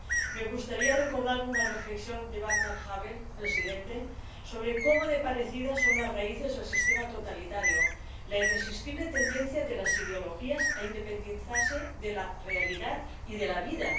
Me gustaría recordar una reflexión de Vaclav Havel, presidente, sobre cómo de parecidas son las raíces del sistema totalitario, sobre la irresistible tendencia de las ideologías a independizarse de la realidad y de la vida.